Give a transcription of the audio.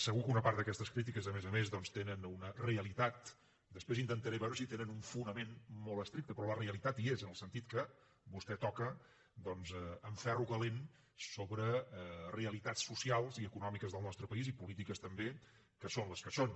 segur que una part d’aquestes crítiques a més a més doncs tenen una realitat després intentaré veure si tenen un fonament molt estricte però la realitat hi és en el sentit que vostè toca doncs amb ferro calent sobre realitats socials i econòmiques del nostre país i polítiques també que són les que són